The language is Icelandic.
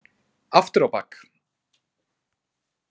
Aftur á bak.